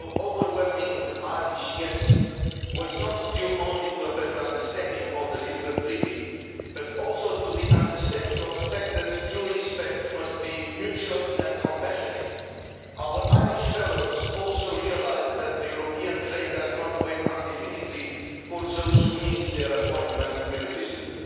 Mr President, the overwhelming Irish yes' was not due only to a better understanding of the Lisbon Treaty, but also to the understanding of the fact that true respect must be mutual and compassionate. Our Irish fellow citizens also realised that the European train does not wait indefinitely for those who miss their appointment with history.